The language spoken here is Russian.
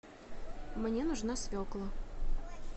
мне нужна свекла